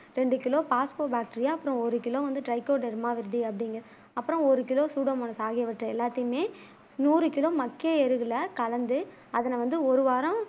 ரெண்டு kilo phosphobacteria அப்புறம் ஒரு கிலோ ட்ரைக்கோ டெர்மாவித்தி அப்புறம் ஒரு கிலோ சூடோமோன் எல்லாத்தையுமே நூறு கிலோ மக்கிய எரிவுல கலந்து அதனை வந்து ஒரு வாரம்